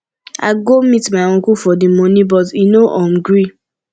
i go meet my uncle for the money but e no um gree